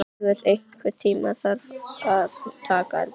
Stígur, einhvern tímann þarf allt að taka enda.